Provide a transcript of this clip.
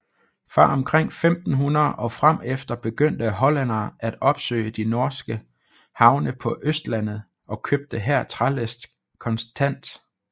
Fra omkring 1500 og fremefter begyndte hollændere at opsøge de norske havne på Østlandet og købte her trælast kontant